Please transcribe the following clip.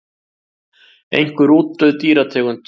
Einhver útdauð dýrategund.